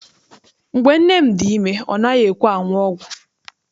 Mgbe nne m dị ime, ọ naghị ekwe anụ ọgwụ.